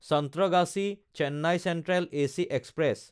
চন্ত্ৰগাছী–চেন্নাই central AC express